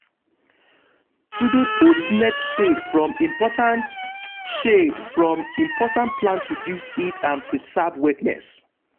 to de put net shade from important shade from important plant reduce heat and preserve wetness.